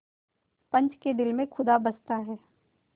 पंच के दिल में खुदा बसता है